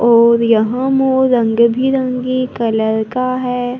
और यहां मोर रंग बिरंगी कलर का है।